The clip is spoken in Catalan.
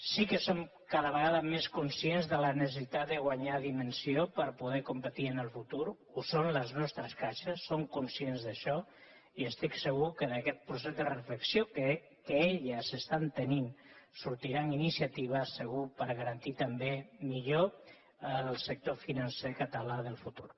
sí que som cada vegada més conscients de la necessitat de guanyar dimensió per poder competir en el futur en són les nostres caixes són conscients d’això i estic segur que d’aquest procés de reflexió que elles estan tenint sortiran iniciatives segur per garantir també millor el sector financer català del futur